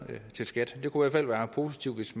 til skat det kunne fald være positivt hvis